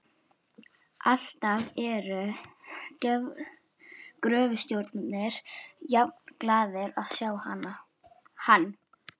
Alltaf eru gröfustjórarnir jafnglaðir að sjá hann.